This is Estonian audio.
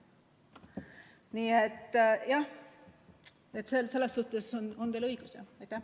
Nii et teil on õigus, jah.